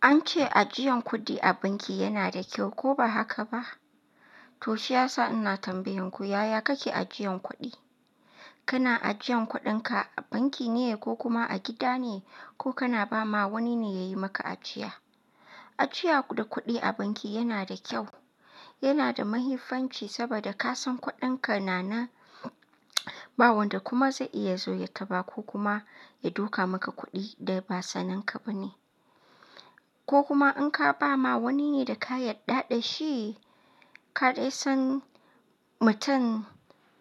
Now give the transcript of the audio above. An ce ajiyan kuɗi a banki yana da kyau, ko ba haka ba? To shi yasa ina tambayoyin ku yaya kake ajiyan kuɗi? Kana ajiyan kuɗinka a banki ne ko kuma a gida ne ko kana ba ma wani ne yayi maka ajiya? Ajiya da kuɗi a banki yana da kyau, yana da mahifanci saboda ka san kuɗinka na nan, ba wanda kuma zai iya zo ya taba ko kuma ya dauka maka kuɗi da ba saninka ba ne. Ko kuma in ka ba ma wani ne da ka yarda da shi, ka dai san mutum